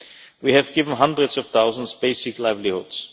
We have given hundreds of thousands basic livelihoods.